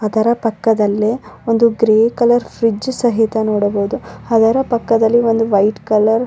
ಅದರ ಪಕ್ಕದಲ್ಲೆ ಒಂದು ಗ್ರೇ ಕಲರ್ ಫ್ರಿಡ್ಜ್ ಸಹಿತ ನೋಡಬಹುದು ಅದರ ಪಕ್ಕದಲ್ಲಿ ಒಂದು ವೈಟ ಕಲರ್ --